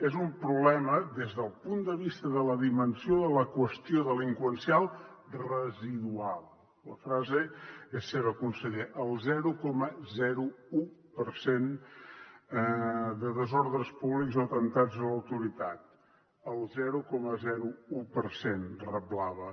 és un problema des del punt de vista de la dimensió de la qüestió delinqüencial residual la frase és seva conseller el zero coma un per cent de desordres públics o atemptats a l’autoritat el zero coma un per cent reblava